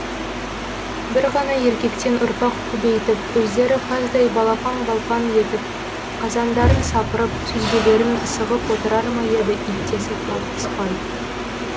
бір ғана еркектен ұрпақ көбейтіп өздері қаздай балпаң балпаң етіп қазандарын сапырып сүзбелерін сығып отырар ма еді иттесіп тартыспай